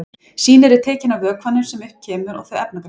Sýni eru tekin af vökvanum sem upp kemur og þau efnagreind.